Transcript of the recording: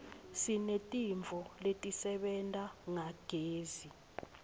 sinetintfo letisebenta ngagezi